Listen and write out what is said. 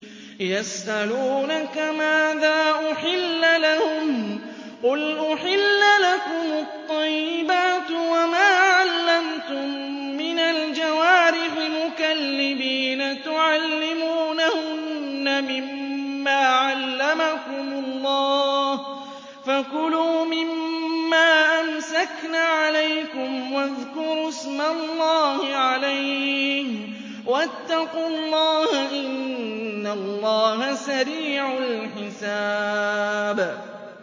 يَسْأَلُونَكَ مَاذَا أُحِلَّ لَهُمْ ۖ قُلْ أُحِلَّ لَكُمُ الطَّيِّبَاتُ ۙ وَمَا عَلَّمْتُم مِّنَ الْجَوَارِحِ مُكَلِّبِينَ تُعَلِّمُونَهُنَّ مِمَّا عَلَّمَكُمُ اللَّهُ ۖ فَكُلُوا مِمَّا أَمْسَكْنَ عَلَيْكُمْ وَاذْكُرُوا اسْمَ اللَّهِ عَلَيْهِ ۖ وَاتَّقُوا اللَّهَ ۚ إِنَّ اللَّهَ سَرِيعُ الْحِسَابِ